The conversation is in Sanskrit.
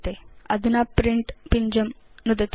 अधुना प्रिंट पिञ्जं नुदतु